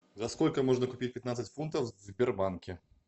за сколько можно купить пятнадцать фунтов в сбербанке